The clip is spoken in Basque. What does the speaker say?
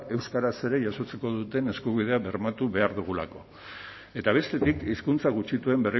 euskaraz ere jasotzeko duten eskubidea bermatu behar dugulako eta bestetik hizkuntza gutxituen